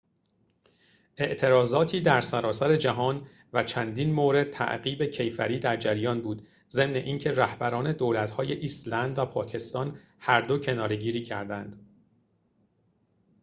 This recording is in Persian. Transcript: اعتراضاتی در سراسر جهان و چندین مورد تعقیب کیفری در جریان بود ضمن اینکه رهبران دولت‌های ایسلند و پاکستان هردو کناره‌گیری کردند